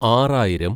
ആറായിരം